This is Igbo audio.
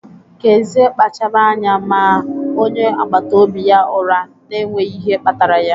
Kezie kpachaara anya maa onye agbata obi ya ụra n'enweghị ihe kpatara ya.